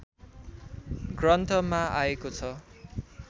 ग्रन्थमा आएको छ